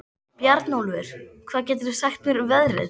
Bjarnólfur, hvað geturðu sagt mér um veðrið?